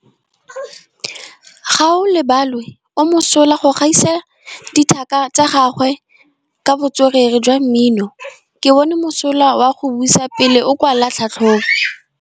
Gaolebalwe o mosola go gaisa dithaka tsa gagwe ka botswerere jwa mmino. Ke bone mosola wa go buisa pele o kwala tlhatlhobô.